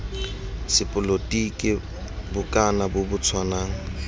sepolotiki bokana bo bo tshwanang